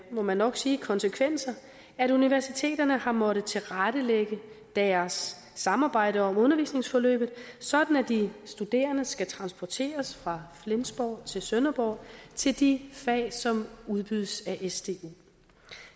må man nok sige konsekvenser at universiteterne har måttet tilrettelægge deres samarbejde om undervisningsforløb sådan at de studerende skal transporteres fra flensborg til sønderborg til de fag som udbydes af sdu